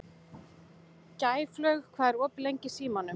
Gæflaug, hvað er opið lengi í Símanum?